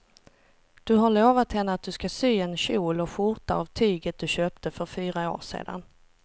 Du har lovat henne att du ska sy en kjol och skjorta av tyget du köpte för fyra år sedan.